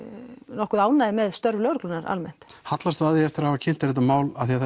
nokkuð ánægðir með störf lögreglunnar almennt hallastu að því eftir að hafa kynnt þér þetta mál af því að